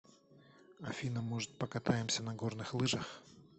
афина может покатаемся на горных лыжах